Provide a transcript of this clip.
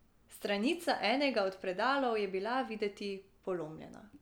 Stranica enega od predalov je bila videti polomljena.